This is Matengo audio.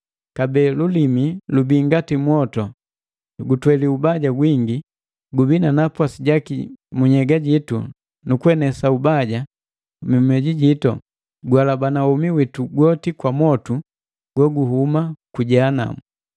Kabee lulimi lubii ngati mwotu. Gutweli ubaja gwingi, gubii na napwasi jaki mu nhyega jitu nu kuenesa ubaja mu mioju jitu, guhalabana womi witu gwoti kwa mwotu goguhuma ku Jehanamu.